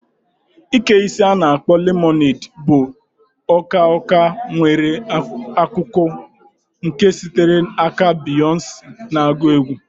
Ike isi a na akpo lemonade bụ ọka ọka nwere akụkụ nke sitere aka Beyoncé na-agụ egwú.